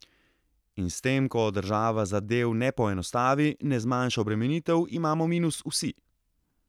In s tem, ko država zadev ne poenostavi, ne zmanjša obremenitev, imamo minus vsi.